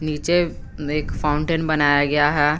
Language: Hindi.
नीचे में एक फाउंटेन बनाया गया है।